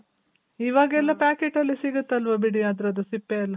ಇವಾಗೆಲ್ಲ packet ಅಲ್ಲಿ ಸಿಗುತಲ್ವ ಬಿಡಿ ಅದ್ರುದು ಸಿಪ್ಪೆ ಎಲ್ಲ.